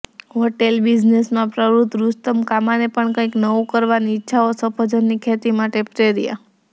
hotel બિઝનેસમાં પ્રવૃત્ત રુસ્તમ કામાને પણ કંઈક નવું કરવાની ઇચ્છાએ સફરજનની ખેતી માટે પ્રેર્યા